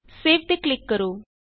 save ਤੇ click ਕਰੋ